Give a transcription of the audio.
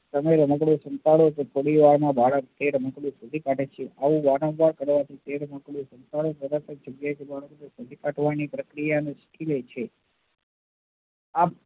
તમે રમકડું સંતાડો છો થોડી વાર' માં બાળક એ રમકડું શોધી કાઢે છે આવું વારંવાર કરવાથી એ રમકડું શોધી કાઢવાની પ્રક્રિયા ને શીખી લે છે